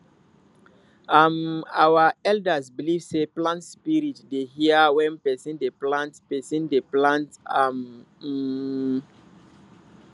um our elders believe sey plant spirit dey hear when person dey plant person dey plant am um